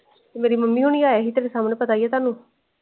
ਮੇਰੀ ਮਮੀ ਹੋਰਿ ਆਏ ਸੀ ਤਾੜੇ ਸਾਮਣੇ ਪਤਾ ਏ ਹੈ ਤੁਹਾਨੂੰ।